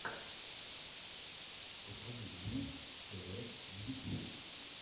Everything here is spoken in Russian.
покажи бууу тв в ютюбе